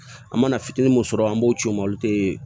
An mana fitinin mun sɔrɔ an b'o ci ma olu te